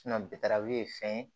ye fɛn ye